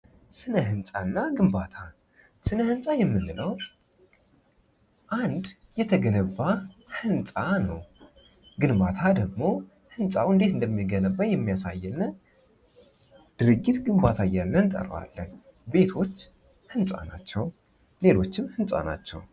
ስነ ህንፃና ግንባታ ስነ ህንፃ የምንለው አንድ የተገነባ ህንፃ ነው ግንባታ ደግሞ እንዴት እንደተገነባ የሚያሳይልን ድርጊት ግንባታ አያልነህ እንጠራዋለን ቤቶች ህንፃ ናቸው! ሌሎችም ህጻናቸውን!